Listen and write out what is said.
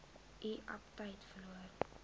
u aptyt verloor